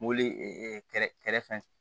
Mobili kɛrɛ kɛrɛfɛ